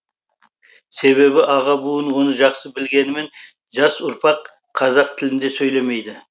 себебі аға буын оны жақсы білгенімен жас ұрпақ қазақ тілінде сөйлемейді